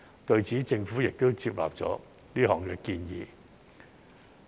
對此，政府亦接納了是項建議。